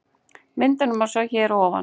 Myndina má sjá hér að ofan